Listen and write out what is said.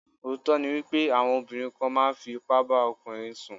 Òótọ́ ni wípé àwọn obìnrin kan máa ń fi ipá bá ọkùnrin sùn.